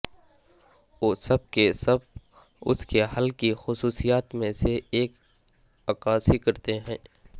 وہ سب کے سب اس کے حل کی خصوصیات میں سے ایک عکاسی کرتے ہیں